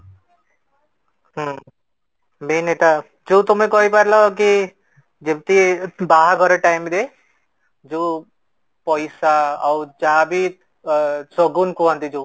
ହୁଁ main ଏଟା, ଯୋଉ ତୁମେ କହି ପାରିଲା କି ଜେମିତି ବାହାଘର time ରେ ଯୋଉ ପଇସା ଆଉ ଯାହାବି ଅ କୁହନ୍ତି ଯୋଉ